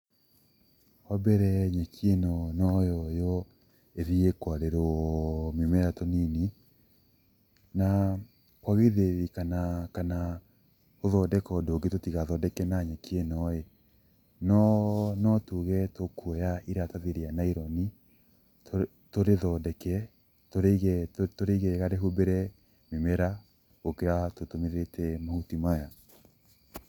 Wa mbere nyeki ĩno no yoywo ĩthiĩ kwarĩrwo mĩmera mĩnini, na ho githĩ, kana kana gũthondeka ũndũ ũngĩ tũtigathondeke na nyeki ĩno ĩĩ no tuge tũkwoya iratathi rĩa naironi tũrĩthondeke tũrĩige wega rĩhumbĩre mĩmera gũkĩra tũtũmĩrĩte mahuti maya.